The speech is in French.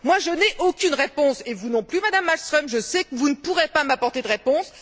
Je n'ai aucune réponse, et vous non plus, Madame Malmström, je sais que vous ne pourrez pas m'apporter de réponse.